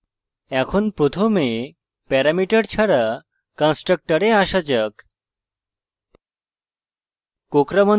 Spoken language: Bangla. এখন প্রথমে প্যারামিটার ছাড়া কন্সট্রকটরে আসা যাক